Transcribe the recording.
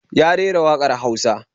Ya rera waƙar Hausa